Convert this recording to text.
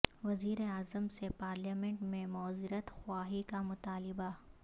وزیر اعظم سے پارلیمنٹ میں معذرت خواہی کا مطالبہ